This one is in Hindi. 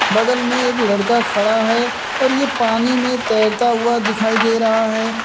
बगल में एक लड़का खड़ा है और यह पानी में तैरता हुआ दिखाई दे रहा है।